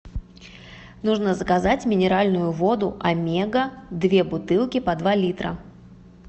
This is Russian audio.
нужно заказать минеральную воду омега две бутылки по два литра